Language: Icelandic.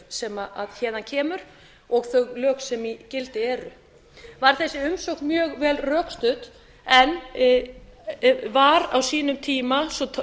sem héðan kemur og þau lög sem í gildi eru var þessi umsókn mjög vel rökstudd en var á sínum tíma svo